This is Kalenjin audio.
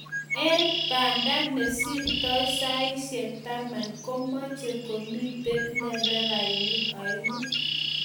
eng Banda nesirtoi saishek taman komeche komito nderefainik aengu